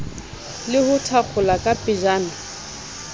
le ho thakgola ka pejana